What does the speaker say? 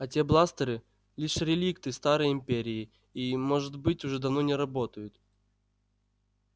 а те бластеры лишь реликты старой империи и может быть уже давно не работают